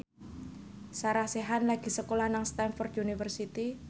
Sarah Sechan lagi sekolah nang Stamford University